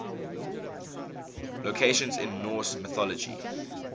locations in norse mythology